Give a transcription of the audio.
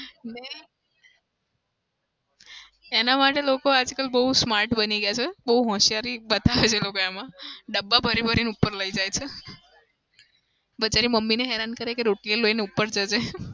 ને એના માટે લોકો આજકાલ બઉ smart બની ગયા છે. બઉ હોશિયારી બતાવે છે લોકો એમાં. ડબ્બા ભરી-ભરીને ઉપર લઇ જાય છે. બધાની મમ્મીઓને હેરાન કરે છે કે રોટલીઓ લઇને ઉપર જજે.